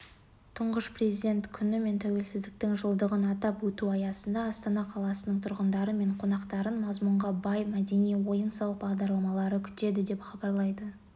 тұңғыш президент күні мен тәуелсіздіктің жылдығын атап өту аясында астана қаласының тұрғындары мен қонақтарын мазмұнға бай мәдени-ойын-сауық бағдарламалары күтеді деп хабарлайды